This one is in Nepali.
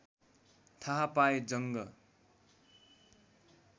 थाहा पाए जङ्ग